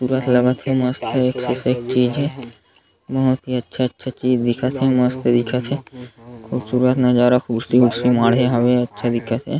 पूरा स्वागत हे मस्त एक सेक चीज़ हे बहुत ही अच्छा-अच्छा चीज़ दिखत हे मस्त दिखत हे खूबसूरत नज़ारा कुर्सी ऊर्सी माढ़हे हावे अच्छा दिखत हे।